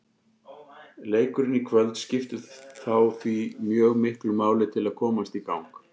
Leikurinn í kvöld skiptir þá því mjög miklu máli til að komast í gang.